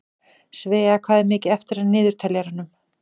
Svea, hvað er mikið eftir af niðurteljaranum?